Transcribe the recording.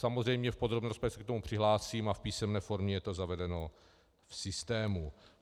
Samozřejmě v podrobné rozpravě se k tomu přihlásím a v písemné formě je to zavedeno v systému.